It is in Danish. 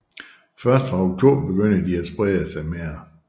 Først fra oktober begynder de at sprede sig mere